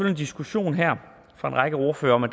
en diskussion her fra en række ordførere om at